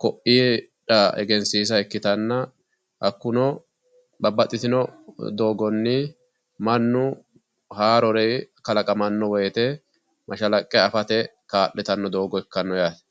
ku'ira egensiisa ikkitanna, hakkuno babbaxxitino doogganni mannu haarore kalaqamanno woyte mashalaqqe afate kaa'litanno doogo ikkanno yaate.